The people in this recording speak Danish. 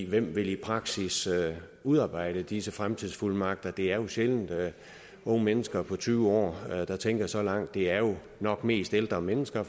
hvem vil i praksis udarbejde disse fremtidsfuldmagter det er jo sjældent unge mennesker på tyve år der tænker så langt det er jo nok mest ældre mennesker